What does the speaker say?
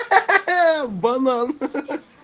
ха ха банан ха ха